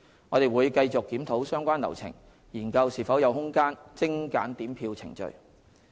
我們會繼續檢討相關流程，研究是否有空間精簡點票程序。